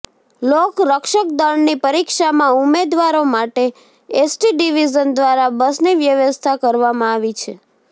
લોક રક્ષકદળની પરીક્ષામાં ઉમેદવારો માટે એસટી ડિવિઝન દ્વારા બસની વ્યવસ્થા કરવામાં આવી છે